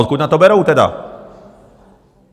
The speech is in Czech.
Odkud na to berou tedy?